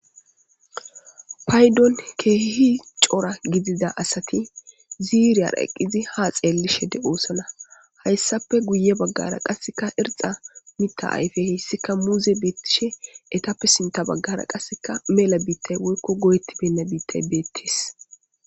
Paydon keehi cora gidida asati ziiriyara eqqizi ha xeellishe de'oosana. Hayssappe guye baggara qasseka irxa mita ayfe heyssika muuze beettishe etappe sintta baggara qasseka mela biittay woykko goyettibenna biittay beettis.